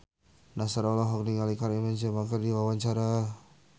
Nassar olohok ningali Karim Benzema keur diwawancara